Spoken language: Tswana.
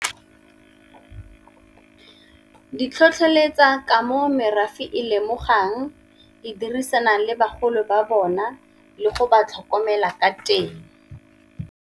Di tlhotlheletsa ka mo merafe e lemogwang, e dirisana le bagolo ba bona, le go ba tlhokomela ka teng.